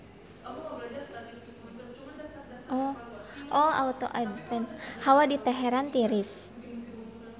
Hawa di Teheran tiris